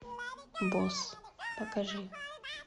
босс покажи